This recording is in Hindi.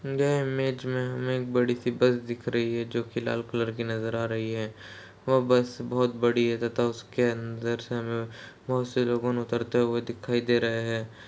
यह इमेज में हमें एक बड़ी सी बस दिख रही है जो कि लाल कलर की नजर आ रही है। वो बस बोहोत बड़ी है तथा उसके अंदर से हमें बोहोत से लोगुन उतरते हुए दिखाई दे रहे हैं।